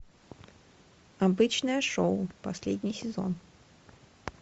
обычное шоу последний сезон